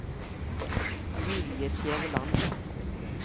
Julie Skjæveland